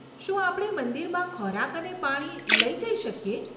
શું આપણે મંદિરમાં ખોરાક અને પાણી લઈ જઈ શકીએ?